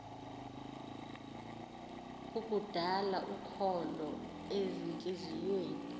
kukudala ukholo ezintliziyweni